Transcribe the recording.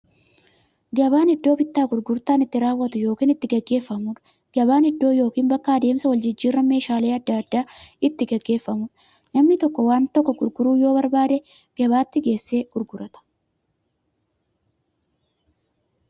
Gabaan iddoo bittaaf gurgurtaan itti raawwatu yookiin itti gaggeeffamuudha. Gabaan iddoo yookiin bakka adeemsa waljijjiiraan meeshaalee adda addaa itti gaggeeffamuudha. Namni tokko waan tokko gurguruu yoo barbaade, gabaatti geessee gurgurata.